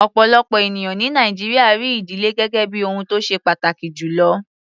Ọ̀pọ̀lọpọ̀ ènìyàn ní Nàìjíríà rí ìdílé gẹ́gẹ́ bí ohun tó ṣe pàtàkì jù lọ.